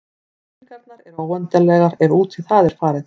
Spurningarnar eru óendanlegar ef út í það er farið.